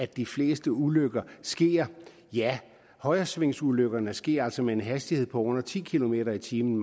de fleste ulykker sker ja højresvingsulykkerne sker altså med en hastighed på under ti kilometer per time